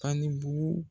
Ani bugu